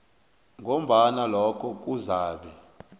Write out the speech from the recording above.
ngombana lokho kuzabe